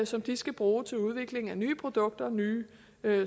som de skal bruge til udvikling af nye produkter og nye